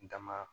Dama